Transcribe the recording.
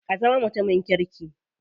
Ka zama mutumin kirki.